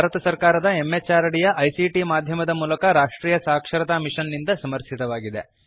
ಇದು ಭಾರತ ಸರ್ಕಾರದ MHRDಯ ICTಮಾಧ್ಯಮದ ಮೂಲಕ ರಾಷ್ಟ್ರೀಯ ಸಾಕ್ಷರತಾ ಮಿಷನ್ ನಿಂದ ಸಮರ್ಥಿತವಾಗಿದೆ